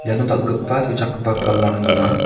iano dal·gipa tuchakgipa palang donga.